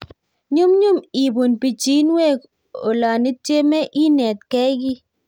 Nyumnyum ipuun pichiinwek olanityemee inetgei kiy